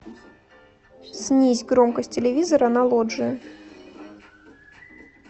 снизь громкость телевизора на лоджии